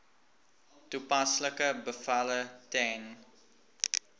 toepaslike bevele ten